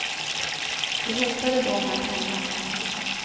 De hotade då med att hämnas.